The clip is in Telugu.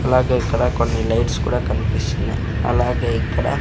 అలాగే ఇక్కడ కొన్ని లైట్స్ కూడా కన్పిస్తున్నాయ్ అలాగే ఇక్కడ--